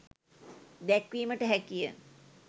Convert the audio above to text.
දැක්වීමට හැකිය.